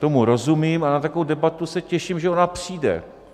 Tomu rozumím a na takovou debatu se těším, že ona přijde.